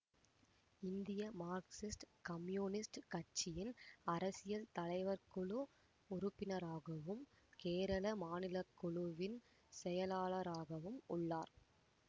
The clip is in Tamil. இந்திய மார்க்சிஸ்ட் கம்யூனிஸ்ட் கட்சியின் அரசியல் தலைவர் குழு உறுப்பினராகவும் கேரள மாநிலக்குழுவின் செயலாளராகவும் உள்ளார்